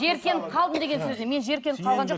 жиіркеніп қалдым деген сөзі мен жиіркеніп қалған жоқпын